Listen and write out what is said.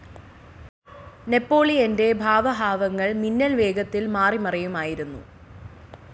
നെപോളിയന്റെ ഭാവഹാവങ്ങൾ മിന്നൽ വേഗത്തിൽ മാറിമറിയുമായിരുന്നു.